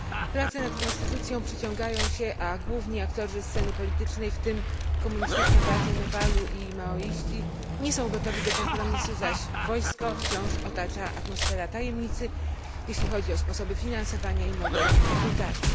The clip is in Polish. Prace nad konstytucją przeciągają się, a główni aktorzy sceny politycznej, w tym Komunistyczna Partia Nepalu i maoiści, nie są gotowi do kompromisu, zaś wojsko wciąż otacza atmosfera tajemnicy, jeśli chodzi o sposoby finansowania i model rekrutacji.